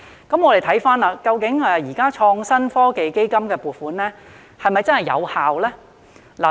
那麼現時創新及科技基金的撥款是否真的有效呢？